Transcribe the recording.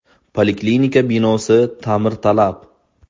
Poliklinika binosi ta’mirtalab.